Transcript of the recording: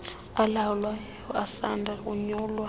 alawulayo asanda konyulwa